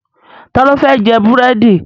Ta ló fẹ́ jẹ búrèdì